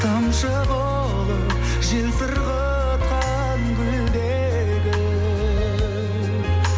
тамшы болып жел сырғатқан гүлдегі